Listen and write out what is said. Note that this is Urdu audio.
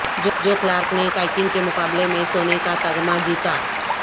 جو کلارک نے کائکنگ کے مقابلے میں سونے کا تمغہ جیتا